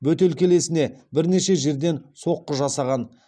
бөтелкелесіне бірнеше жерден соққы жасаған